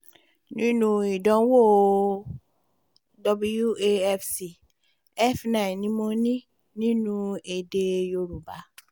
nínú ìdánwò wafc f9 ni mo ní nínú èdè yorùbá